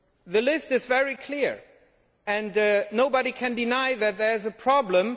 The list is very clear and nobody can deny that there is a problem.